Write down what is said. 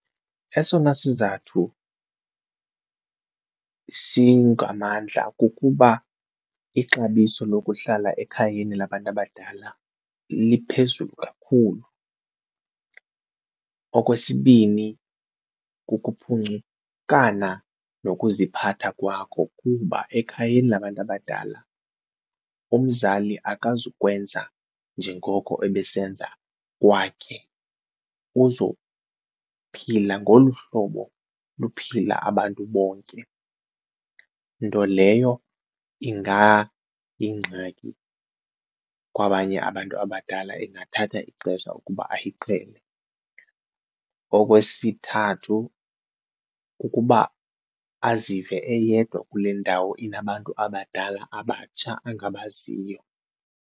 Esona sizathu singamandla kukuba ixabiso lokuhlala ekhayeni labantu abadala liphezulu kakhulu. Okwesibini, kukuphuncukana nokuziphatha kwakho kuba ekhayeni labantu abadala umzali akazukwenza njengoko ebesenza kwakhe, uzophila ngolu hlobo luphila abantu bonke nto leyo ingayingxaki kwabanye abantu abadala ingathatha ixesha ukuba ayiqhele. Okwesithathu, kukuba azive eyedwa kule ndawo inabantu abadala abatsha angabaziyo.